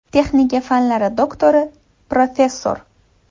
Texnika fanlari doktori, professor.